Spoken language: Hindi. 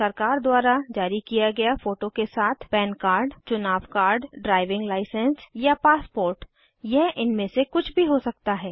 सरकार द्वारा जारी किया गया फोटो के साथ पन कार्ड चुनाव कार्ड ड्राइविंग लाइसेंस या पासपोर्ट यह इनमे से कुछ भी हो सकता है